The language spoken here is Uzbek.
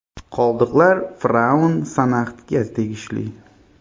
Qoldiqlar fir’avn Sanaxtga tegishli.